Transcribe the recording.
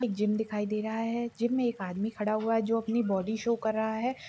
एक जिम दिखाई दे रहा है जिम में एक आदमी खड़ा हुआ है जो अपनी बॉडी शो कर रहा है।